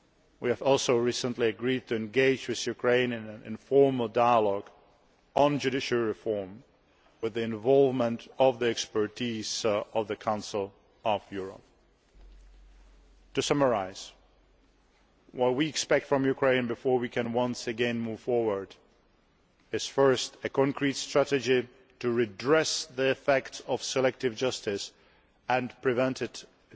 We have also recently agreed to engage with Ukraine in an informal dialogue on judiciary reform, drawing on the expertise of the Council of Europe. To summarise, what we expect from Ukraine before we can once again move forward is firstly, a concrete strategy to redress the effect of selective justice and prevent